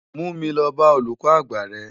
Mú mi lò bá ólúkò ágbá rè